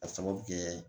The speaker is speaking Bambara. A sababu bɛ kɛ